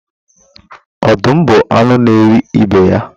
Ọdụm bụ anu na eri ibe ya